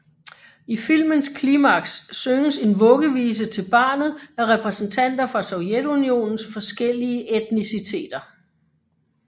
I filmens klimaks synges en vuggevise til barnet af repræsentanter fra Sovjetunionens forskellige etniciteter